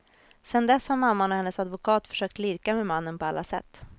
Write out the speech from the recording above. Sedan dess har mamman och hennes advokat försökt lirka med mannen på alla sätt.